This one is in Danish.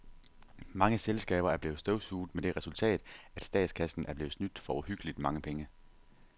Mange selskaber er blevet støvsuget med det resultat, at statskassen er blevet snydt for uhyggeligt mange penge.